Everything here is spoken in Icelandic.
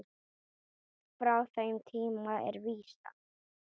Frá þeim tíma er vísan